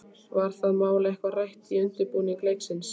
Var það mál eitthvað rætt í undirbúningi leiksins?